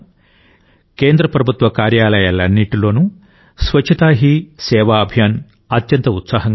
కేంద్ర ప్రభుత్వ కార్యాలయాలన్నింటిలో స్వచ్ఛతా హీ సేవా అభియాన్ అత్యంత ఉత్సాహంగా సాగుతోంది